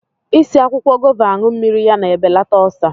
I si akwụkwọ gova anụ mmiri ya na-ebelata ọlsa